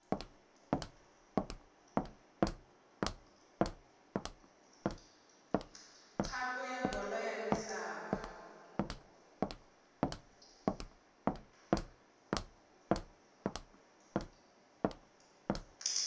khapu ya bolo ya misava